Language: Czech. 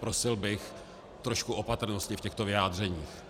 Prosil bych trošku opatrnosti v těchto vyjádřeních.